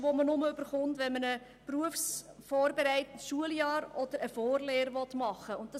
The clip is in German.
Diesen Betrag erhält man, wenn man ein berufsvorbereitendes Schuljahr oder eine Vorlehre machen will.